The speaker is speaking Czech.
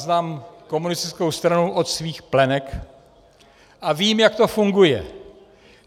Znám komunistickou stranu od svých plenek a vím, jak to funguje.